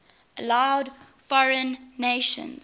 allowed foreign nations